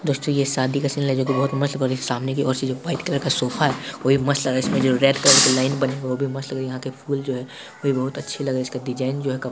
दोस्तों यह शादी का सीन है जो बहुत मस्त लग रही ह | सामने की और से जो व्हाइट कलर का सोफा है वह भी बहुत मस्त लगे हैं इसमें जो रेड कलर की लाइन बनी है वह भी मस्त लग रही है यहाँ के फुल जो है बहुत अच्छे लग रहे है उसके डिज़ाइन जो है कप --